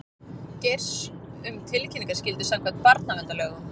Geirs um tilkynningaskyldu samkvæmt barnaverndarlögum